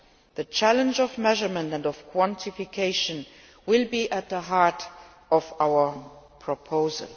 The challenge of measurement and of quantification will be at the heart of our proposal.